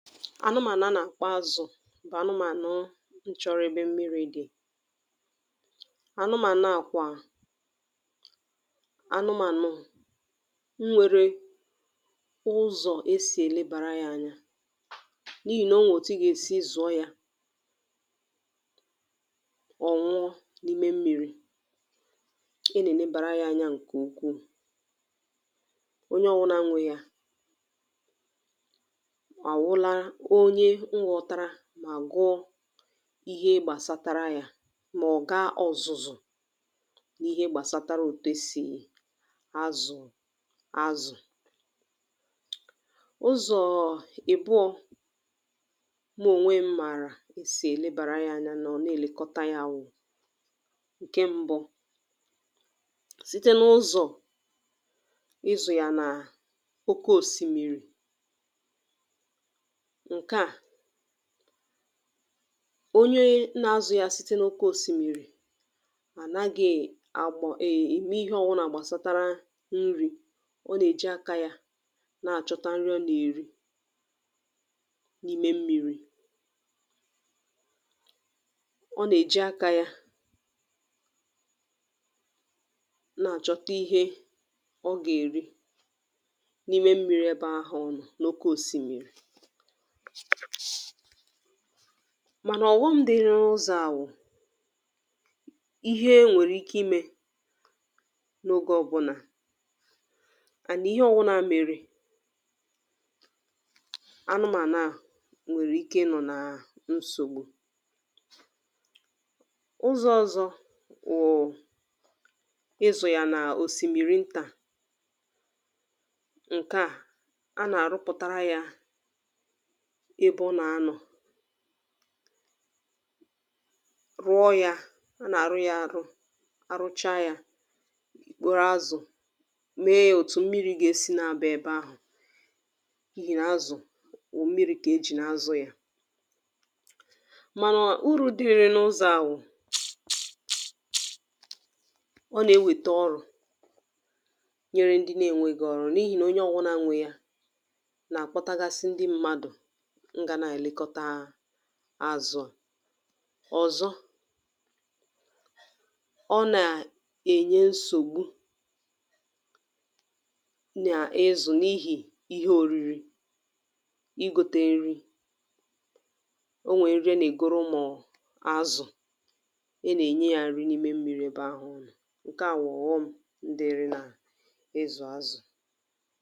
anụmànụ̀ a nà àkpọ azụ̀ bụ̀ anụmànụ̀ n chọrụ mmirī. anụmànụ̀ à kwà anụmànụ̀ n nwere ụzọ̀ e sì ẹ̀lẹbàra ya anya, n’ihì nà onwè òtu ị gà èsi wẹ̀ẹ zụ̀ọ ya, ọ̀ nwụọ, n’ime mmīrī. e nà ẹ̀lẹbàra ya anya ǹkè ukwù. onye ọwụnā nwe ya, à wụla onye m ghọtara, mà gụọ ihe gbàsatara yā, mà ọ̀ ga ọ̀zụ̀zụ̀ n’ihe gbàsatara òtù e sì azụ̀ azụ̀. ụzọ̀ ìbụọ̄ mụ ònwe m̄ màrà e sì èlebàra ya anya mà ọ̀ nàèlekọta ya wụ̀. ǹkẹ mbụ, site n’ụzọ̀ ịzụ̀ yà nà oke òsìmìrì, ǹkẹ à, onye na azụ̄ ya site n’oke òsìmìrì ànaghị àgbọ̀ ànaghị ème ịhẹ ọbụlà gbàsatara nrī, ọ nà èji akā ya nà àchọta nri ọ nà èri, n’ime mmirī. ọ nà èji akā ya nà àchọta nri ọ nà èri, n’ime mmirī ẹbẹ̄ ahụ̀ ọ nọ̀, n’oke òsìmìrì. mànà ọ̀ghọm dị n’ụzọ̄ à wụ̀, ihe nwèrè ike imē n’oge ọbụnà, and nà ịhẹ ọwụnā mere, anụmànụ̀ ahụ̀ nwẹ̀rẹ̀ ike ịnọ̀ na nsògbu. ụzọ̄ ọzọ wụ̀ ịzụ̀ yà nà òsìmìrì ntà. a nà àrụpụ̀tara yā ebe ọ nà anọ̀, rụọ yā, a nà àrụ ya arụ, arụcha yā, ì kporo azụ, me ya òtù mmirī gà èsi na aba ebe ahụ̀, n’ihi nà azụ̀ wụ̀ mmirī kà e jì na azụ̄ ya. màna urū dịrị n’ụzọ̄ à wụ̀, ọ nà ewete ọrụ nyere ndị na enweghi ọrụ, n’ihì nà onye ọwụna nwē ya, nà àkpọtagasị ndị mmadù, n gā nà ẹ̀lẹkọta azụ̄ à. ọ̀zọ, ọ nà ẹ̀nyẹ nsògbu nà ịzụ n’ihì ihe oriri, I ghote nri. ọ nwẹ nri a nà ègoro ụmụ̀ azụ, a nà ẹ̀nye yā nri n’ime mmiri ẹbẹ ahụ̀ ọ nọ̀. ǹkẹ à bụ ọ̀ghọm̄ dịrị nà ịzụ̀ azụ̀.